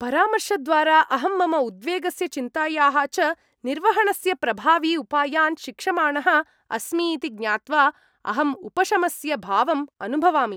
परामर्शद्वारा अहं मम उद्वेगस्य चिन्तायाः च निर्वहणस्य प्रभावी उपायान् शिक्षमाणः अस्मि इति ज्ञात्वा अहम् उपशमस्य भावम् अनुभवामि।